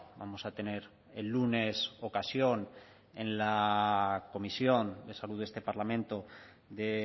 vamos a tener el lunes ocasión en la comisión de salud de este parlamento de